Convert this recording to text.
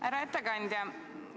Härra ettekandja!